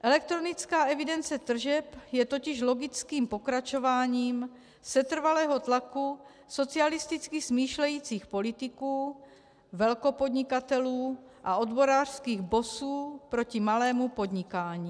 Elektronická evidence tržeb je totiž logickým pokračováním setrvalého tlaku socialisticky smýšlejících politiků, velkopodnikatelů a odborářských bossů proti malému podnikání.